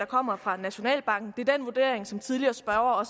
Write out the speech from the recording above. kommer fra nationalbanken det er også den vurdering som tidligere spørgere har